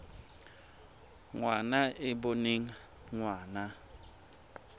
ngwana e e boneng ngwana